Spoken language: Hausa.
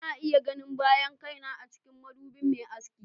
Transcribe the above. Ina iya ganin bayan kaina a cikin madubin mai aski.